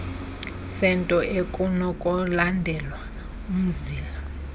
sento ekunokulandelwa umzila